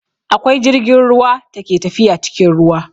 Akwai jirgin ruwa ta ke tafiya cikin ruwa